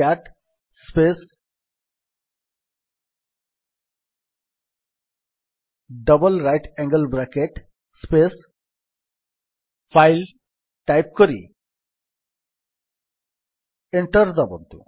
cat space double right angle bracket space file type କରି enter ଦାବନ୍ତୁ